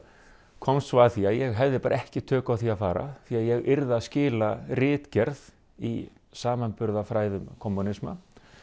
komst svo að því að ég hefði bara ekki tök á því að fara því ég yrði að skila ritgerð í samanburðarfræðum kommúnisma